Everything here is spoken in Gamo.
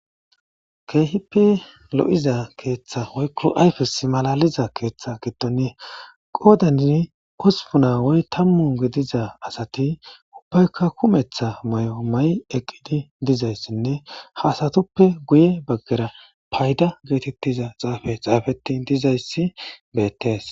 keehippi lo7iza keeththa woykko ayfis malaliza keeththe giddon qoodani osupuna woy tammu gediza asati ubbaykka kumetha may7o ma7i eqqidi dizayssinne ha asatuppe guye baggera payda geetettiza xaafe xaafeti dizayssi beettees